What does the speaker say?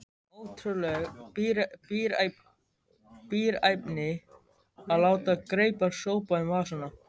Ótrúleg bíræfni að láta greipar sópa um vasana.